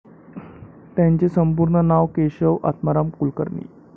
त्यांचे संपूर्ण नाव केशव आत्माराम कुलकर्णी.